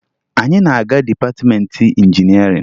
Anyị na-aga dịpatịmeentị injinịarịn